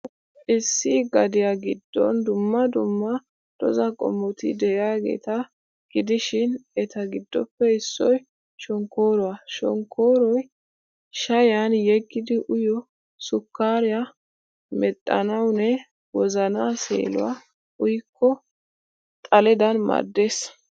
Issi gadiyaa giddon dumma dumma dozaa qommoti de'iyaageeta gidishin, eta giddoppe issoy shonkkooruwa. Shonkkooroy shayyiyan yeggidi uyiyoo sukkaariyaa medhdhanawunne wozanaa seelawu uyikko xaledan maaddees.